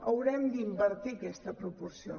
haurem d’invertir aquesta proporció